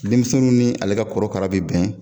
Denmisɛn min ni ale ka kɔrɔkara bɛ bɛn